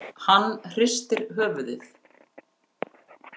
Hann hristir höfuðið.